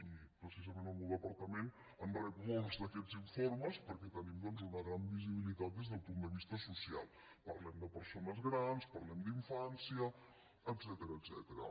i precisament el meu departament en rep molts d’aquests informes perquè tenim doncs una gran visibilitat des del punt de vista social parlem de persones grans parlem d’infància etcètera